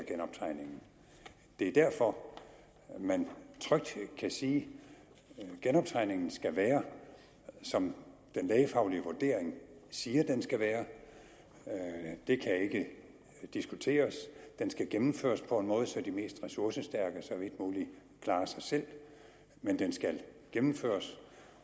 det er derfor man trygt kan sige at genoptræningen skal være som den lægefaglige vurdering siger den skal være det kan ikke diskuteres og den skal gennemføres på en måde så de mest ressourcestærke så vidt muligt klarer sig selv men den skal gennemføres